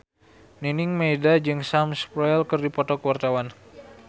Nining Meida jeung Sam Spruell keur dipoto ku wartawan